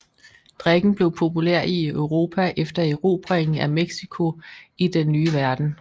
Drikken blev populær i Europa efter erobringen af Mexico i Den Nye Verden